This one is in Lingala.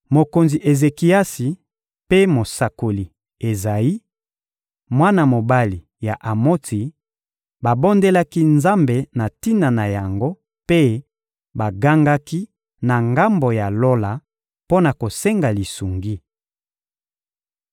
Mokonzi Ezekiasi mpe mosakoli Ezayi, mwana mobali ya Amotsi, babondelaki Nzambe na tina na yango mpe bagangaki na ngambo ya Lola mpo na kosenga lisungi.